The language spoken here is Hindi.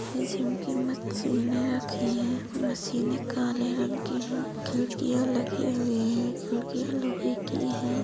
ये जिम की मशीनें रखी हैं। मशीनें काले रंग की हैं। खिड़किया लगी हुई हैं। खड़िकियाँ लोहे की हैं।